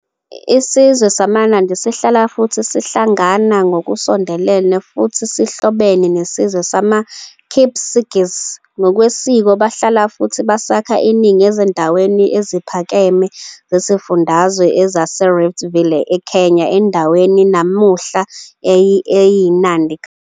Isizwe samaNandi sihlala futhi sihlangana ngokusondelene futhi sihlobene nesizwe samaKipsigis. Ngokwesiko bahlala futhi basakha iningi ezindaweni eziphakeme zesifundazwe esasiyiRift Valley eKenya, endaweni namuhla eyiNandi County.